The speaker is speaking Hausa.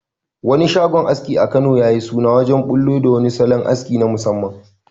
Wani shagon aski a Kano ya yi suna wajen bullo da wani salon aski na musamman